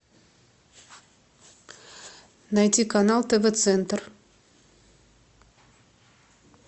найти канал тв центр